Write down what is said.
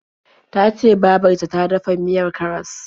Ta ce babar ta ta dafa miyar karas.